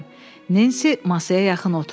Nensi masaya yaxın oturdu.